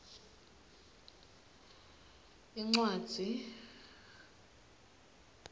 cm incwadzi